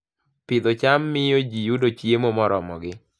Pidho cham miyo ji yudo chiemo moromogi